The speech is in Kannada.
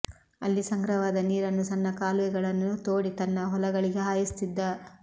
ಅಲ್ಲಿ ಸಂಗ್ರಹವಾದ ನೀರನ್ನು ಸಣ್ಣ ಕಾಲುವೆಗಳನ್ನು ತೋಡಿ ತನ್ನ ಹೊಲಗಳಿಗೆ ಹಾಯಿಸುತ್ತಿದ್ದ